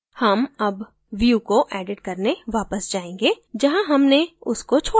हम अब view को एडिट करने वापस जायेंगे जहाँ हमने उसको छोडा था